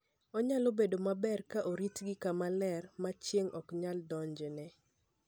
Onyalo bedo maber ka oritgi kama ler mar chieng' ok nyal donjone.